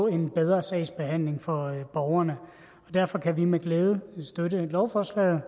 en bedre sagsbehandling for borgerne derfor kan vi med glæde støtte lovforslaget